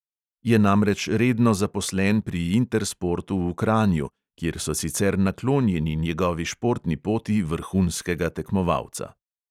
Je namreč redno zaposlen pri intersportu v kranju, kjer so sicer naklonjeni njegovi športni poti vrhunskega tekmovalca.